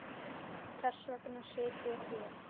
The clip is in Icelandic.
Þess vegna sit ég hér.